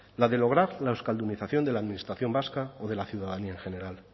la de lograr la euskaldunización de la administración vasca o de la ciudadanía en general